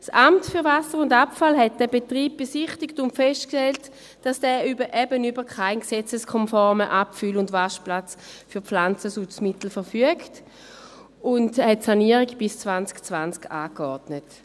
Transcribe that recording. Das Amt für Wasser und Abfall (AWA) besichtigte diesen Betrieb und stellte fest, dass er eben über keinen gesetzeskonformen Abfüll- und Waschplatz für Pflanzenschutzmittel verfügt, und ordnete die Sanierung bis 2020 an.